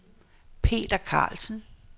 Peter Karlsen